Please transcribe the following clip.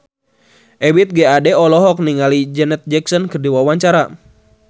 Ebith G. Ade olohok ningali Janet Jackson keur diwawancara